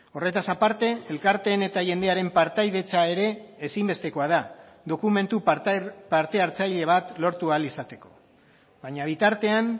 horretaz aparte elkarteen eta jendearen partaidetza ere ezinbestekoa da dokumentu parte hartzaile bat lortu ahal izateko baina bitartean